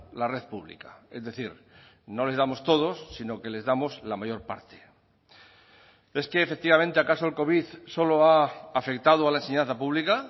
la red pública es decir no les damos todos sino que les damos la mayor parte es que efectivamente acaso el covid solo ha afectado a la enseñanza pública